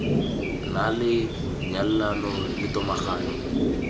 na le nyalelano le tomagano